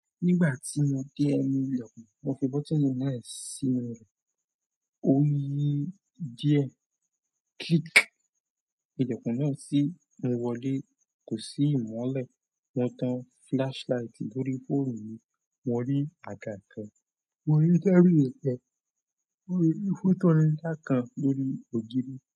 Nígbà tí mo dé enú ilẹ̀kùn, mo fi bótini náà sínú rẹ̀. Ó yí díẹ̀. Click. Ilẹ̀kùn náà sì mú wọlé. Kò sí ìmọ́lẹ̀. Mo tan flashlight lórí fóònù mi. Mo rí àga kan, mo rí tábìlì kan, mo rí ifúnànílá kan lórí ògiri.